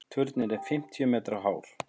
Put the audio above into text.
Turninn er fimmtíu metra hár.